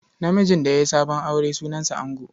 Namijin da ya yi sabon aure sunansa ango.